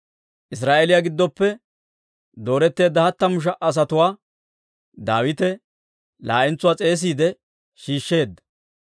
Israa'eeliyaa giddoppe dooretteedda hattamu sha"a asatuwaa Daawite laa'entsuwaa s'eesiide shiishsheedda.